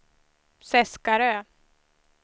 Seskarö